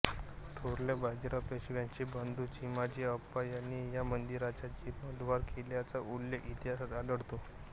थोरल्या बाजीराव पेशव्यांचे बंधू चिमाजी अप्पा यांनी या मंदिराचा जीर्णोद्धार केल्याचा उल्लेख इतिहासात आढळतो